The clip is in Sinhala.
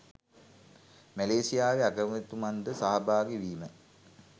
මැලේසියාවේ අගමැතිතුමන් ද සහභාගී වීම